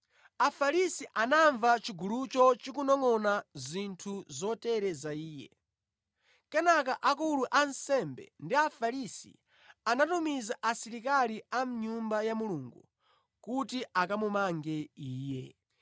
Afarisi anamva chigulucho chikunongʼona zinthu zotere za Iye. Kenaka akulu a ansembe ndi Afarisi anatumiza asilikali a mʼNyumba ya Mulungu kuti akamumange Iye.